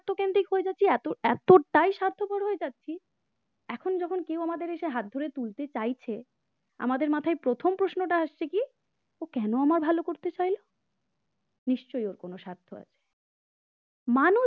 স্বার্থপর এত এতটাই স্বার্থপর হয়ে যাচ্ছি এখন যখন কেউ আমাদের এসে হাত ধরে তুলতে চাইছে আমাদের মাথায় প্রথম প্রশ্নটা আসছে কি ও কেন আমার ভালো করতে চাইল নিশ্চয়ই ওর কোন স্বার্থ আছে মানুষ